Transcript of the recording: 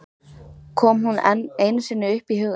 Kom hún enn einu sinni upp í hugann!